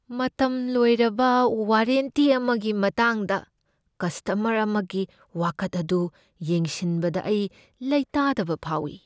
ꯃꯇꯝ ꯂꯣꯏꯔꯕ ꯋꯥꯔꯦꯟꯇꯤ ꯑꯃꯒꯤ ꯃꯇꯥꯡꯗ ꯀꯁꯇꯃꯔ ꯑꯃꯒꯤ ꯋꯥꯀꯠ ꯑꯗꯨ ꯌꯦꯡꯁꯤꯟꯕꯗ ꯑꯩ ꯂꯩꯇꯥꯗꯕ ꯐꯥꯎꯏ ꯫